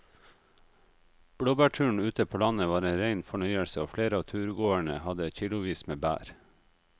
Blåbærturen ute på landet var en rein fornøyelse og flere av turgåerene hadde kilosvis med bær.